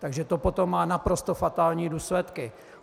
Takže to potom má naprosto fatální důsledky.